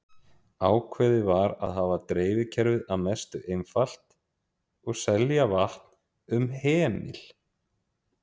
Ákveðið var að hafa dreifikerfið að mestu einfalt og selja vatn um hemil.